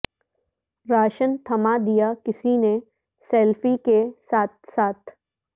ration تھما دیا کسی نے سیلفی کے ساتھ ساتھ